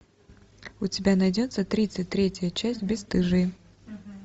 у тебя найдется тридцать третья часть бесстыжие